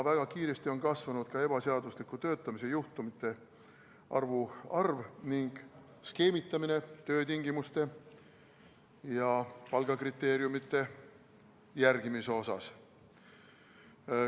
Väga kiiresti on kasvanud ka ebaseadusliku töötamise juhtumite arv ning skeemitamine töötingimuste ja palgakriteeriumide järgimisel.